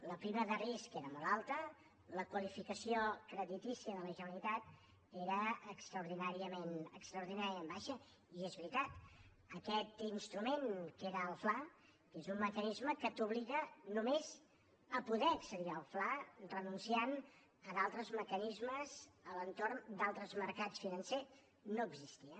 la prima de risc era molt alta la qualificació creditícia de la generalitat era extraordinàriament baixa i és veritat aquest instrument que era el fla que és un mecanisme que t’obliga només a poder accedir al fla renunciant a d’altres mecanismes a l’entorn d’altres mercats financers no existia